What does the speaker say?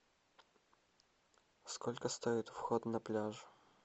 сколько стоит вход на пляж